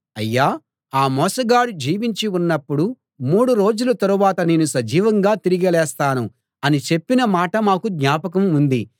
అయ్యా ఆ మోసగాడు జీవించి ఉన్నప్పుడు మూడు రోజుల తరువాత నేను సజీవంగా తిరిగి లేస్తాను అని చెప్పిన మాట మాకు జ్ఞాపకం ఉంది